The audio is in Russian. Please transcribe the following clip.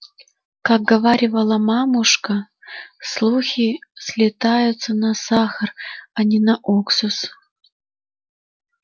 как говаривала мамушка слухи слетаются на сахар а не на уксус